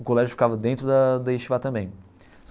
O colégio ficava dentro da da também.